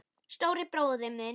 Stóri bróðir minn.